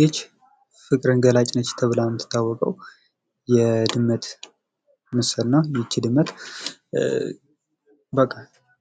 ይቺ ፍቅርን ገላጭ ናት ተብላ የምትታወቀው የድመት ምስል ናት ።ይቺ ድመት በቃ